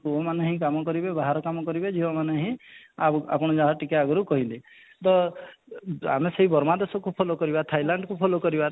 ପୁଅ ମାନେ ହିଁ କାମ କରିବେ ବାହାର କାମ କରିବେ ଝିଅ ମାନେ ହିଁ ଆଗୁ ଆପଣ ଯାହା ଟିକେ ଆଗରୁ କହିଲେ ତ ଅଃ ଆମେ ସେଇ ବର୍ମା ଦେଶକୁ follow କରିବା thailand କୁ follow କରିବା